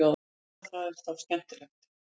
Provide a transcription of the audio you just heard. en hvað er þá skemmtilegt